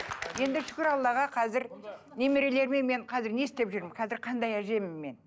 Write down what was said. енді шүкір аллаға қазір немерелеріме мен қазір не істеп жүрмін қазір қандай әжемін мен